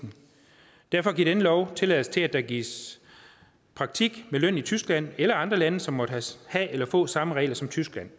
derfor giver denne lov tilladelse til at der gives praktik med løn i tyskland eller andre lande som måtte have eller få samme regler som tyskland